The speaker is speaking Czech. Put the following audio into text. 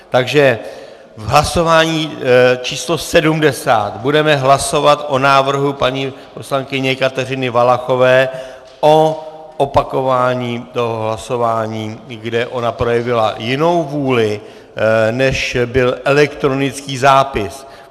Takže v hlasování číslo 70 budeme hlasovat o návrhu paní poslankyně Kateřiny Valachové o opakování toho hlasování, kde ona projevila jinou vůli, než byl elektronický zápis.